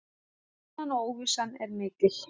Spennan og óvissan er mikil.